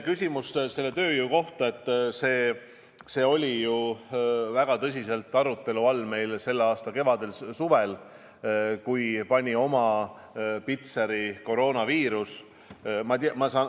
Nüüd, tööjõu küsimus oli ju väga tõsise arutelu all selle aasta kevadel-suvel, kui kõigele pani oma pitseri koroonaviirus.